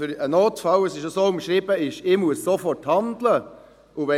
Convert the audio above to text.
Ein Notfall ist so umschrieben, dass ich sofort handeln muss.